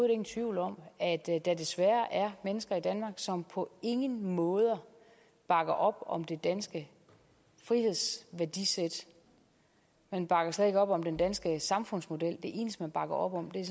ingen tvivl om at der desværre er mennesker i danmark som på ingen måder bakker op om det danske frihedsværdisæt man bakker slet ikke op om den danske samfundsmodel det eneste man bakker op om er